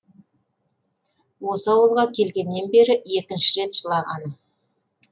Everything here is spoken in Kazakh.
осы ауылға келгеннен бері екінші рет жылағаны